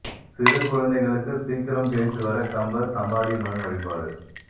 சிறு குழந்தைகளுக்கு சீக்கிரம் பேச்சு வர கம்பர் சமாதி மண் வழிபாடு